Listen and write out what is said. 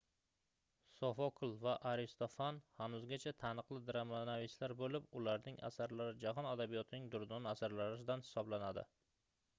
sofokl va aristofan hanuzgacha taniqli dramanavislar boʻlib ularning asarlari jahon adabiyotining durdona asarlaridan hisoblanadi